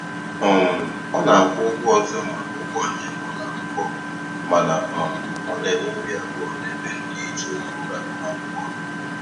um Ọ na-akwụ ụgwọ ọzọ maka ụgbọ njem ụlọakwụkwọ, mana um ọ na-enwe obi abụọ n'ebe ndịiche uru agụmakwụkwọ dị.